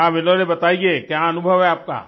हाँ विनोले बताइए क्या अनुभव है आपका